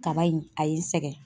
Kaba in a ye n sɛgɛn.